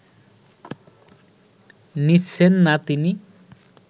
নিচ্ছেন না তিনি